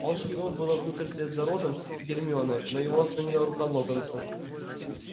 он шагнул было внутрь вслед за роном и гермионой но его остановила рука локонса